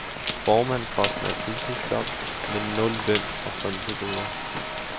Formandsposten er et fuldtidsjob, men nul løn og frynsegoder.